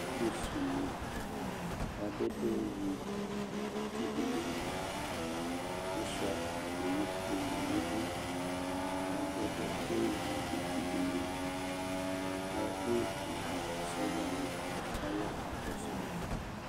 Alu sune asɛdɛ ewi uti bene liAsua atame akpo ne nidu la adɛdɛ ewi uti bene liEku sɔdza wane ka ya ka kɔso ma